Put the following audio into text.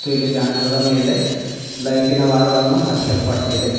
ಮತ್ತು ಇಲ್ಲಿ ಬ್ಯಾನರ್ದ ಮೇಲೆ ಲೈಟಿನ ವೈರುಗಳನ್ನು ಹಚ್ಚಲ್ಪಟ್ಟಿದೆ.